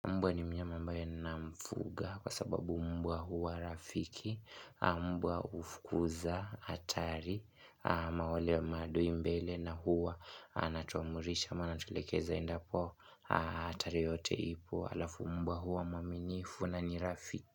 Mbwa ni mnyama ambae na mfuga kwa sababu mbwa huwa rafiki, mbwa ufkuza hatari, amawale wa maadu imbele na huwa anatuamrisha ama anatuelekeza endapo hatari yote ipo alafu mbwa huwa mwaminifu na nirafi.